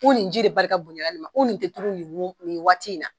nin ji de barika bonya na nin ma nin te turu nin waati in na.